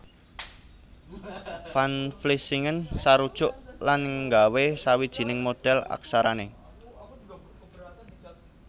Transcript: Van Vlissingen sarujuk lan nggawé sawijining modhèl aksarané